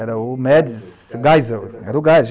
Era o Mads Geisel, era o Geisel.